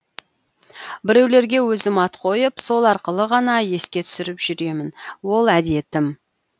біреулерге өзім ат қойып сол арқылы ғана еске түсіріп жүремін ол әдетім